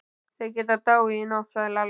Þeir geta dáið í nótt, sagði Lalli.